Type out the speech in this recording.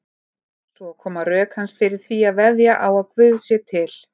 Svo koma rök hans fyrir því að veðja á að Guð sé til.